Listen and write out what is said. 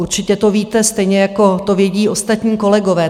Určitě to víte, stejně jako to vědí ostatní kolegové.